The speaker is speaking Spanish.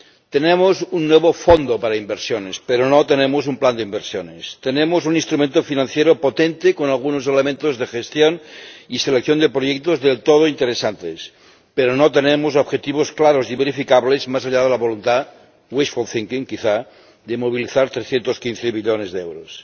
Tenemos un nuevo fondo para inversiones, pero no tenemos un plan de inversiones. Tenemos un instrumento financiero potente, con algunos elementos de gestión y selección de proyectos del todo interesantes, pero no tenemos objetivos claros y verificables más allá de la voluntad wishful thinking quizá— de movilizar 315 millones de euros.